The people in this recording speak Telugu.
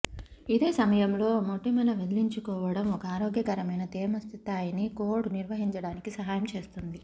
ఇదే సమయంలో మొటిమల వదిలించుకోవటం ఒక ఆరోగ్యకరమైన తేమ స్థాయిని కోడ్ నిర్వహించడానికి సహాయం చేస్తుంది